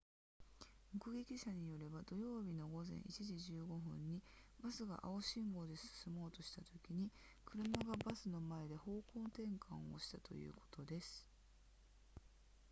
目撃者によれば土曜日の午前1時15分にバスが青信号で進もうとしたときに車がバスの前で方向転換をしたということです